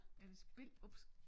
Er det spil ups